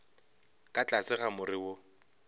ka tlase ga more wo